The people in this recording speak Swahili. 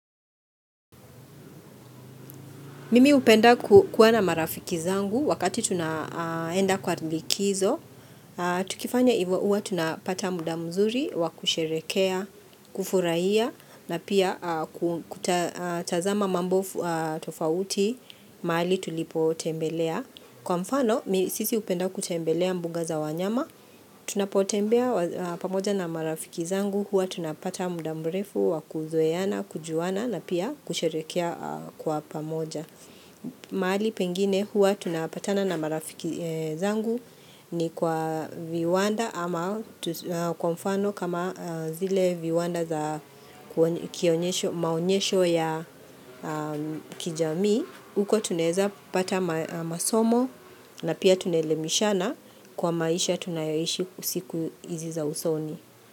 Mimi upenda kuwa na marafiki zangu wakati tunaenda kwa likizo. Tukifanya ivo uwa tunapata muda mzuri, wakusherekea, kufurahia, na pia kutazama mambo tofauti, maali tulipo tembelea. Kwa mfano, misisi upenda kutembelea mbuga za wanyama. Tunapotembea pamoja na marafiki zangu, uwa tunapata muda mrefu, wakuzoeana, kujuana, na pia kusherekea kwa pamoja. Mahali pengine huwa tunapatana na marafiki zangu ni kwa viwanda ama kwa mfano kama zile viwanda za kionyesho maonyesho ya kijami. Huko tuneza pata masomo na pia tunelemishana kwa maisha tunayoishi usiku izi za usoni.